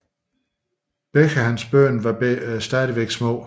Begge hans børn var stadigvæk små